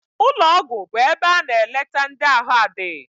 Ụlọgwụ bụ ebe a na-eleta ndị ahụ adịghị.